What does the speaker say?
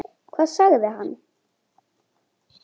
Hvað sagði hann?